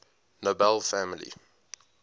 nobel family